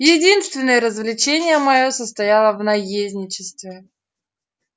единственное развлечение моё состояло в наездничестве